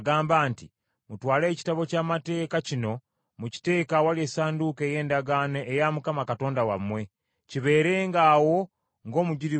“Mutwale Ekitabo ky’Amateeka kino mukiteeke awali Essanduuko ey’Endagaano eya Mukama Katonda wammwe, kibeerenga awo ng’omujulirwa gy’oli.